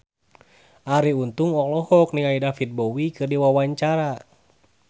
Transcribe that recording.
Arie Untung olohok ningali David Bowie keur diwawancara